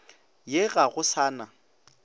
ye ga go sa na